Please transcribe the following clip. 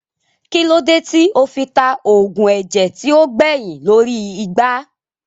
Kílódé tí ó fi ta oògùn ẹ̀jẹ̀ tí ó gbẹyìn lórí igbá